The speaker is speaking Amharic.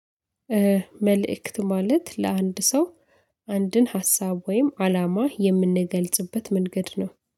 መልእክት ማለት ለአንድ ሰው አንድን ሀሳብ ወይም አላማ የምንገልጽበት መንገድ ነው